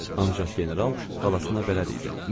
Ancaq general xalasına bələd idi.